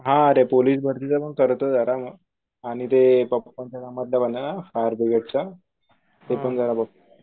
हा अरे पोलीस भारतीच पण करतोये आता आणि ते फायर ब्रिगेडचा ते पण जरा बघतो.